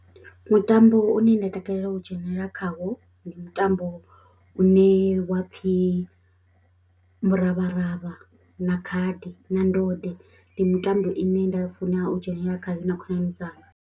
Mutambo une nda takalela u dzhenelela khawo ndi mutambo une wa pfhi muravharavha na khadi na ndode, ndi mitambo ine nda funa u dzhenelela khayo na khonani dzanga.